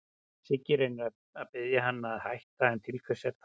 Siggi reynir að biðja hann að hætta, en til hvers er það?